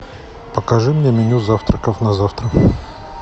покажи мне меню завтраков на завтра